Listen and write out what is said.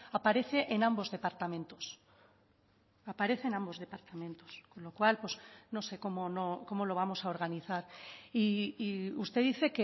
aparece en ambos departamentos aparece en ambos departamentos con lo cual no sé cómo lo vamos a organizar y usted dice